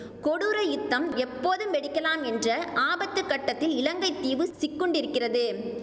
கொடூர யுத்தம் எப்போதும் வெடிக்கலாம் என்ற ஆபத்து கட்டத்தில் இலங்கைத்தீவு சிக்குண்டிருக்கிறது